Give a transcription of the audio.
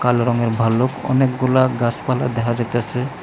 কালো রঙের ভাল্লুক অনেকগুলা গাসপালা দেখা যাইতাসে।